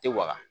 Tɛ wa